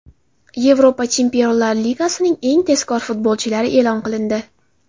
Yevropa Chempionlar Ligasining eng tezkor futbolchilari e’lon qilindi.